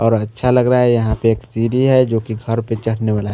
और अच्छा लग रहा है यहा पे एक सीडी है जो की घर पे चड़ने वाला है।